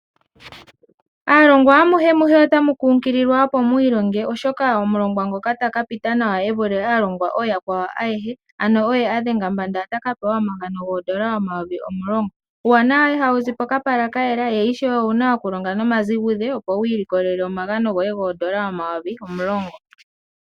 Aalongwa amuhe otamu kunkililwa opo mu ilonge neyitulemo, oshoka omulongwa ngoka ta ka pita nawa e vule aalongwa ooyakwawo ayehe, ano oye a dhenga mbanda, nena ota ka pewa omagano goondola dhaNamibia omayovi omulongo. Uuwanawa ihawu zi pokapala kayela, ngoye ishewe owu na okulonga nomazigudhe opo wu ilikolele oondola dhoye omayovi omulongo.